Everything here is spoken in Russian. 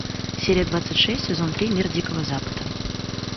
серия двадцать шесть сезон три мир дикого запада